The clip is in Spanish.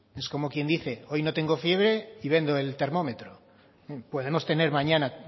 es como quien dice hoy no tengo fiebre y vendo el termómetro podemos tener mañana